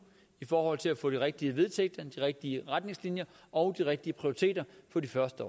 i forhold til at få de rigtige vedtægter de rigtige retningslinjer og de rigtige prioriteter for de første